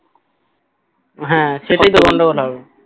হ্যাঁ সেটাই তো গন্ডগোল হবে